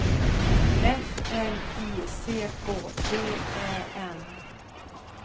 F L I C K V Ä N